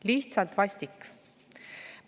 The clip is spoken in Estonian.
Lihtsalt vastik!